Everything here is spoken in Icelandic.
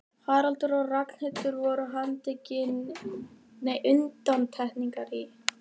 Haraldur og Ragnhildur voru undantekningar í